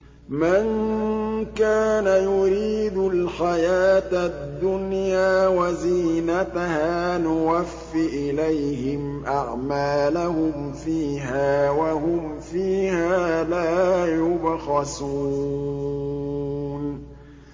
مَن كَانَ يُرِيدُ الْحَيَاةَ الدُّنْيَا وَزِينَتَهَا نُوَفِّ إِلَيْهِمْ أَعْمَالَهُمْ فِيهَا وَهُمْ فِيهَا لَا يُبْخَسُونَ